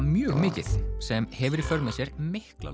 mjög mikið sem hefur í för með sér mikla